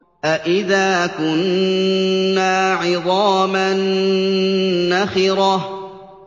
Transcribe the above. أَإِذَا كُنَّا عِظَامًا نَّخِرَةً